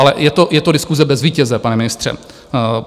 Ale je to diskuse bez vítěze, pane ministře.